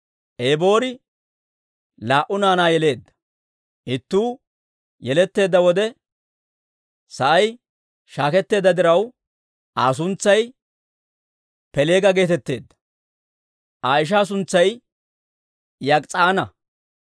Eboori laa"u naanaa yeleedda; ittuu yeletteedda wode sa'ay shaaketteedda diraw, Aa suntsay Peeleega geetetteedda; Aa ishaa suntsay Yok'is'aana.